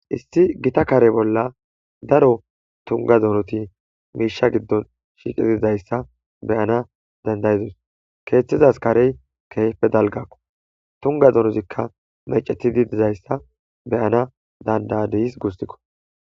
Issi gita kare bolla daro tuga dorti Misha gidon shiqidi dizaysa beyana dad'idos kethazas karey kehipe dalgakko tuga donozikka mecetidi dizaysa be'an danda' adis gusikko